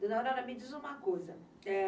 Dona Aurora, me diz uma coisa, é...